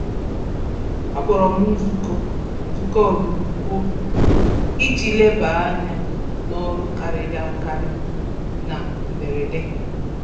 Akpọrọm nzukọ nzukọ ọdụrụkụọ iji leba ányá n'ọrụ karịrị akari na mberede